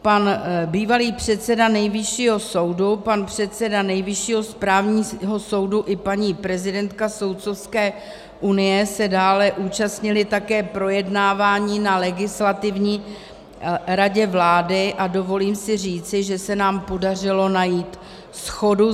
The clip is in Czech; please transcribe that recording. Pan bývalý předseda Nejvyššího soudu, pan předseda Nejvyššího správního soudu i paní prezidentka Soudcovské unie se dále účastnili také projednávání na Legislativní radě vlády a dovolím si říci, že se nám podařilo najít shodu.